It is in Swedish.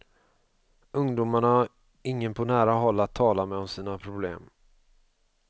Ungdomarna har ingen på nära håll att tala med om sina problem.